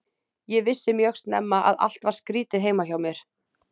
Ég vissi mjög snemma að allt var skrýtið heima hjá mér.